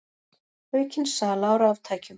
Aukin sala á raftækjum